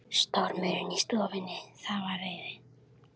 Stormurinn í stofunni, það var reiði